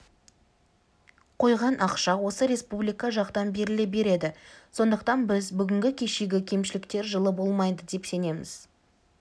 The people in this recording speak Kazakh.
қойған ақша осы республика жақтан беріле береді сондықтан біз бүгінгі-кешегі кемшіліктер жылы болмайды деп сенеміз